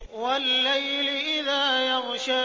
وَاللَّيْلِ إِذَا يَغْشَىٰ